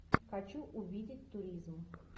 хочу увидеть туризм